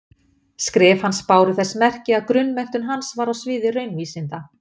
Skrif hans báru þess merki að grunnmenntun hans var á sviði raunvísinda.